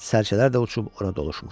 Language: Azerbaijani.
Sərçələr də uçub orada doluşmuşdu.